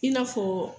I n'a fɔ